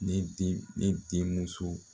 Ne ne den ne denmuso